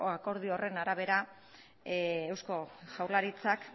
akordio horren arabera eusko jaurlaritzak